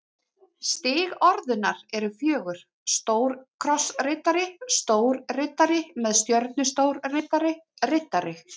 Stig orðunnar eru fjögur: stórkrossriddari stórriddari með stjörnu stórriddari riddari